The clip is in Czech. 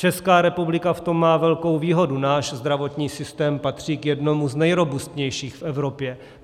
Česká republika v tom má velkou výhodu, náš zdravotní systém patří k jednomu z nejrobustnějších v Evropě.